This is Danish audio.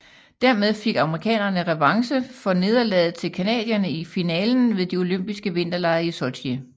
Dermed fik amerikanerne revanche for nederlagdet til canadierne i finalen ved de olympiske vinterlege i Sotji